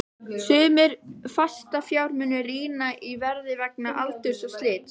Sumir fastafjármunir rýrna í verði vegna aldurs og slits.